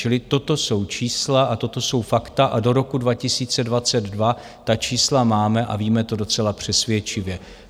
Čili toto jsou čísla a toto jsou fakta a do roku 2022 ta čísla máme a víme to docela přesvědčivě.